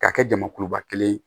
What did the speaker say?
K'a kɛ jamakuluba kelen ye